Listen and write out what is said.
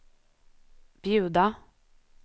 bjuda